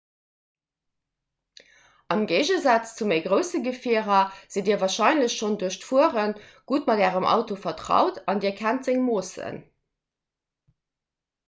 am géigesaz zu méi grousse gefierer sidd dir warscheinlech schonn duerch d'fuere gutt mat ärem auto vertraut an dir kennt seng moossen